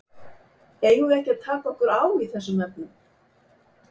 Eigum við ekki að taka okkur á í þessum efnum?